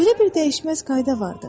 Belə bir dəyişməz qayda vardır.